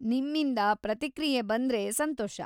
ನಿಮ್ಮಿಂದ ಪ್ರತಿಕ್ರಿಯೆ ಬಂದ್ರೆ ಸಂತೋಷ.